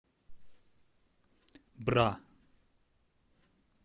бра